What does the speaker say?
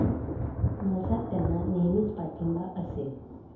माझा त्यांना नेहमीच पाठिंबा असेल.